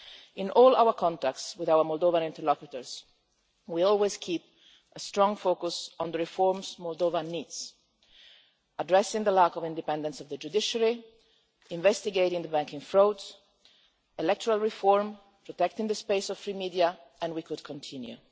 In all our contacts with our Moldovan interlocutors, we always keep a strong focus on the reforms Moldova needs addressing the lack of independence of the judiciary, investigating the banking frauds, looking at electoral reform, protecting the space for free media, and we could continue.